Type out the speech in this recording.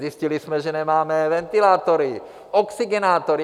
Zjistili jsme, že nemáme ventilátory, oxygenátory.